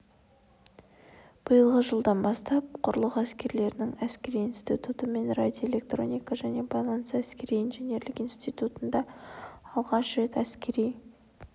биылғы жылдан бастап құрлық әскерлерінің әскери институты мен радиоэлектроника және байланыс әскери-инженерлік институтында алғаш рет әскери